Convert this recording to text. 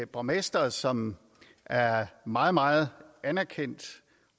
borgmester som er meget meget anerkendt